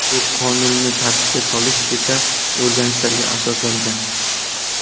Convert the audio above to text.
Bu qonunni tartibga solish esa o‘rganishlarga asoslangan.